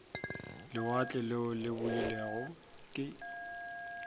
lewatle leo le beilwego ke